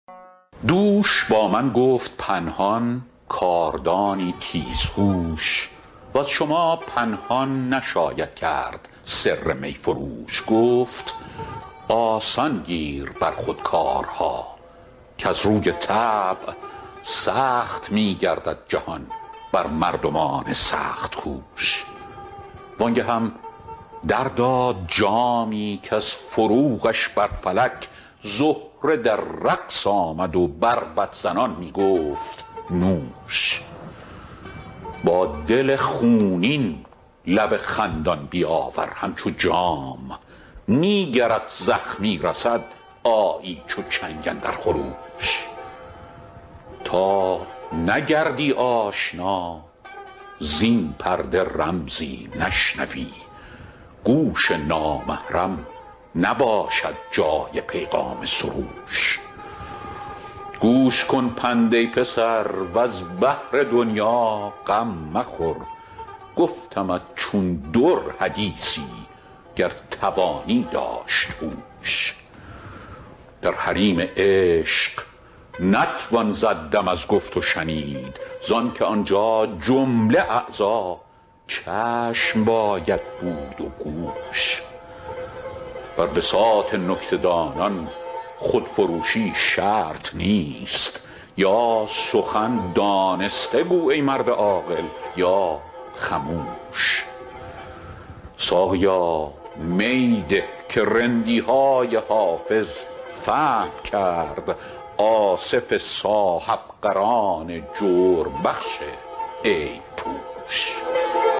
دوش با من گفت پنهان کاردانی تیزهوش وز شما پنهان نشاید کرد سر می فروش گفت آسان گیر بر خود کارها کز روی طبع سخت می گردد جهان بر مردمان سخت کوش وان گهم در داد جامی کز فروغش بر فلک زهره در رقص آمد و بربط زنان می گفت نوش با دل خونین لب خندان بیاور همچو جام نی گرت زخمی رسد آیی چو چنگ اندر خروش تا نگردی آشنا زین پرده رمزی نشنوی گوش نامحرم نباشد جای پیغام سروش گوش کن پند ای پسر وز بهر دنیا غم مخور گفتمت چون در حدیثی گر توانی داشت هوش در حریم عشق نتوان زد دم از گفت و شنید زان که آنجا جمله اعضا چشم باید بود و گوش بر بساط نکته دانان خودفروشی شرط نیست یا سخن دانسته گو ای مرد عاقل یا خموش ساقیا می ده که رندی های حافظ فهم کرد آصف صاحب قران جرم بخش عیب پوش